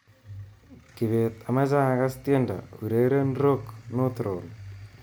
Kibet amache akass tiendo, ureren 'rock north roll'